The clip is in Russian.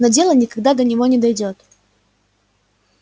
но дело никогда до него не дойдёт